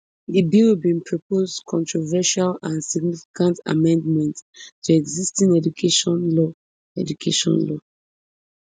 di bill bin propose controversial and significant amendments to existing education law education law